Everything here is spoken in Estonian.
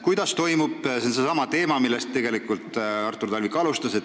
See on seesama teema, millega Artur Talvik alustas.